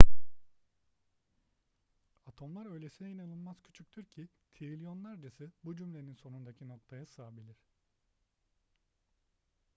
atomlar öylesine inanılmaz küçüktür ki trilyonlarcası bu cümlenin sonundaki noktaya sığabilir